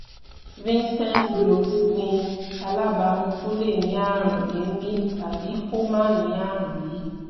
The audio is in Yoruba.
vincent's blowth ní alabama tó lè ní àrùn èémí tàbí kó má ní àrùn yìí